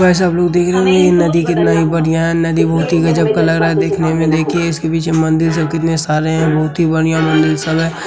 सब लोग देख रहे हैं नदी कितना बढ़िया है नदी बहुत ही गजब का लग रहा है दिखने में देखिये इनके पीछे मंदिर सब कितने सारे हैं बहुत ही बढ़िया मंदिर सब हैं।